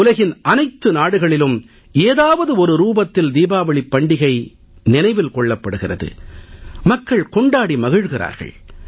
உலகின் அனைத்து நாடுகளிலும் ஏதாவது ஒரு ரூபத்தில் தீபாவளிப் பண்டிகையை நினைவில் கொள்கிறார்கள் கொண்டாடி மகிழ்கிறார்கள்